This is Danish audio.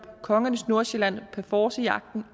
kongernes nordsjælland med parforcejagt